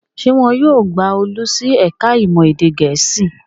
Ṣé wọn yóò gba Olú sí ẹ̀ka-ìmọ̀ èdè Gẹ̀ẹ́sì?